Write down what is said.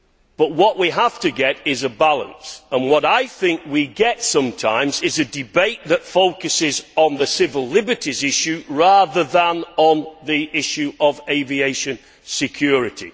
But what we have to get is a balance and what I think we have sometimes is a debate that focuses on the civil liberties issue rather than on the issue of aviation security.